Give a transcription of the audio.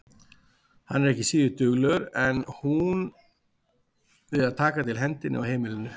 Hann er ekki síður duglegur en hún við að taka til hendi á heimilinu.